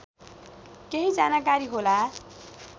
केही जानकारी होला